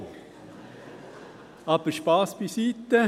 Aber Spass beiseite.